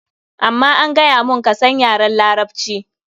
Amma an gaya mun, ka san yaran Larabci.